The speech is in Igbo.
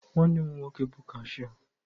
Nwanne m nwoke bụ kashịa.